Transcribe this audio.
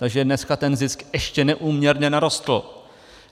Takže dneska ten zisk ještě neúměrně narostl.